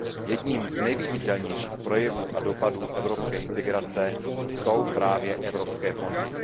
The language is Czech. Jedním z nejviditelnějších projevů a dopadů evropské integrace jsou právě evropské fondy.